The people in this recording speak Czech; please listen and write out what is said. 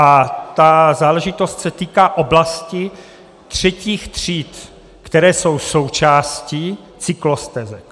A ta záležitost se týká oblasti třetích tříd, které jsou součástí cyklostezek.